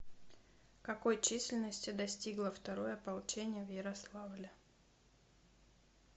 какой численности достигло второе ополчение в ярославле